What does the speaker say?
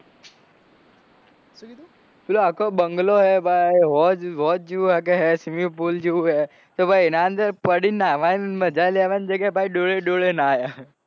પેલો આખો બંગલો હે ભાઈ હોજ જેવું છે swimming poll જેવું હે એના અંદર પડી નાવા મજા લેવાની જગ્યાએ ડોલે ડોલે નાય.